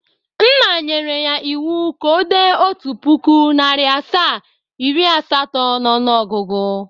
Nna nyere ya iwu ka o de otu puku, nari asaa, iri asato n' ọnụogugu!